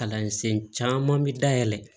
Kalansen caman bi dayɛlɛ